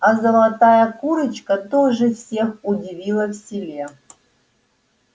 а золотая курочка тоже всех удивила в селе